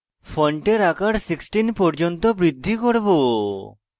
ফন্টের আকার 16 পর্যন্ত বৃদ্ধি করব